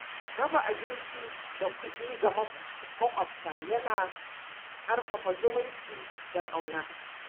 Raba abinci da kuɗi ga maƙwabta yana ƙarfafa zumunci da ƙauna.